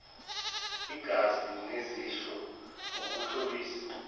izaga nezisho ukuhlobisa